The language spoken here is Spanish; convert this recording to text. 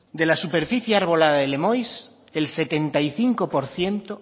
de la superficie arbolada del lemoiz el setenta y cinco por ciento